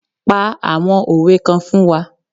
Pa àwọn òwe kan fún wa